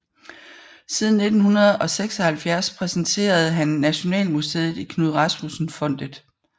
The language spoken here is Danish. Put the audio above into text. Siden 1976 repræsenterede han Nationalmuseet i Knud Rasmussen Fondet